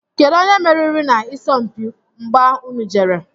Kedụ onye meriri na isọmpi mgbà ụnụ jere?